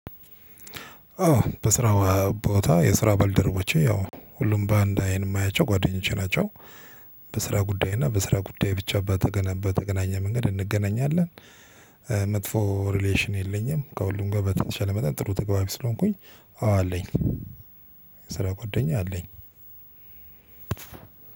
አዎ በስራው ቦታ የስራ ባልደረቦቼ ያው ሁሉም ባንድ አይን የማያቸው ጓደኞቼ ናቸው። በስራ ጉዳይ እና በስራ ጉዳይ ብቻ በተ በተገናኘ መንገድ እንገናኛለን። መጥፎ ሪሌሽን የለኝም። ከሁሉም ጋ በተቻለ መጠን ጥሩ ተገቢ ስለሆንኩኝ። አዎ አለኝ ስራ ጓደኛ አለኝ።